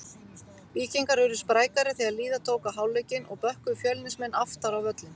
Víkingar urðu sprækari þegar líða tók á hálfleikinn og bökkuðu Fjölnismenn aftar á völlinn.